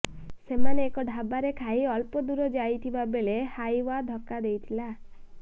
ସେମାନେ ଏକ ଢାବାରେ ଖାଇ ଅଳ୍ପ ଦୂର ଯାଇଥିବା ବେଳେ ହାଇୱା ଧକ୍କା ଦେଇଥିଲା